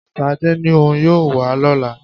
Ṣadé ní òun yóò wá lọ́lá